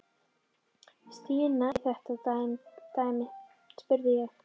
Stína inn í þetta dæmi? spurði ég.